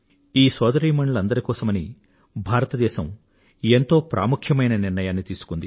ఈ సోదరీమణులందరి కోసమని భారతదేశం ఎంతో ప్రాముఖ్యమైన నిర్ణయాన్ని తీసుకుంది